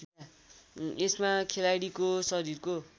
यसमा खेलाडीको शरीरको